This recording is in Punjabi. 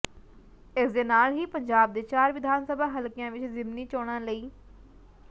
ਇਸ ਦੇ ਨਾਲ ਹੀ ਪੰਜਾਬ ਦੇ ਚਾਰ ਵਿਧਾਨ ਸਭਾ ਹਲਕਿਆਂ ਵਿੱਚ ਜ਼ਿਮਨੀ ਚੋਣਾਂ ਲਈ